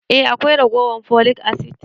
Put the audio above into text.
Eh akwai ragowan folic acid.